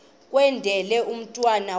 kwendele umntwana wakho